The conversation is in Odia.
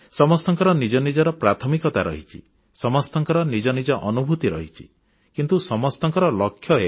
ସମସ୍ତଙ୍କର ନିଜ ନିଜର ପ୍ରାଥମିକତା ରହିଛି ସମସ୍ତଙ୍କର ନିଜ ନିଜ ଅନୁଭୂତି ରହିଛି କିନ୍ତୁ ସମସ୍ତଙ୍କ ଲକ୍ଷ୍ୟ ଏକ